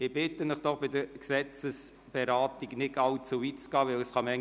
Ich bitte Sie, sich bei einer Gesetzesberatung nicht allzu weit von Ihren Plätzen zu entfernen.